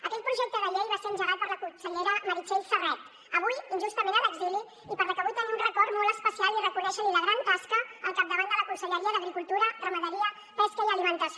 aquell projecte de llei va ser engegat per la consellera meritxell serret avui injustament a l’exili i per a la qual vull tenir un record molt especial i reconèixer li la gran tasca al capdavant de la conselleria d’agricultura ramaderia pesca i alimentació